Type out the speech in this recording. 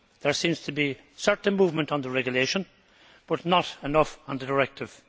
There seems to be certain movement on the regulation, but not enough on the directive.